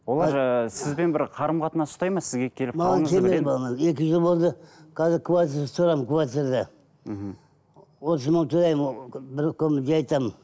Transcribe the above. олар ыыы сізбен бір қарым қатынас ұстайды ма сізге келіп маған келмейді екі жыл болды қазір квартирада тұрамын квартирада мхм отыз мың төлеймін бір жай там